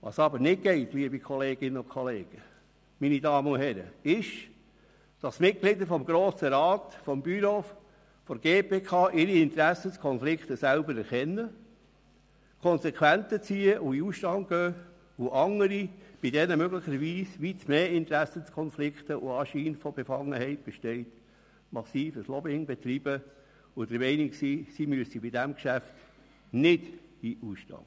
Was aber nicht geht, liebe Kolleginnen und Kollegen, meine Damen und Herren, ist, dass Mitglieder des Grossen Rats, des Büros und der GPK ihre Interessenkonflikte selber erkennen, Konsequenzen ziehen und in den Ausstand treten, während andere, bei denen möglicherweise weit mehr Interessenkonflikte und ein grösserer Anschein von Befangenheit bestehen, massives Lobbying betreiben und der Meinung sind, sie müssten bei dem Geschäft nicht in den Ausstand treten.